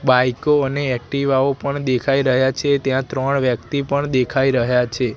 બાઈકો અને એક્ટિવાઓ પણ દેખાય રહ્યા છે ત્યાં ત્રણ વ્યક્તિ પણ દેખાય રહ્યા છે.